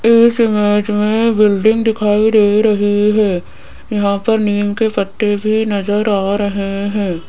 इस इमेज में बिल्डिंग दिखाई दे रही है यहां पर नीम के पत्ते भी नजर आ रहे हैं।